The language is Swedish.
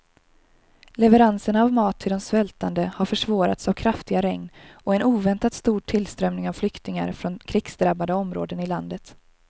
Leveranserna av mat till de svältande har försvårats av kraftiga regn och en oväntat stor tillströmning av flyktingar från krigsdrabbade områden i landet.